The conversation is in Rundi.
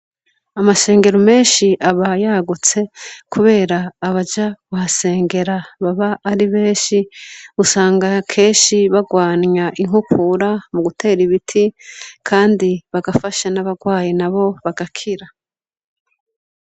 Amashengero menshi aba yagutse kubera abaja kuhasengera baba ari benshi, Usanga kenshi barwanya inkukura mugutera ibiti kandi bagafasha naba barwaye nabo bagakira.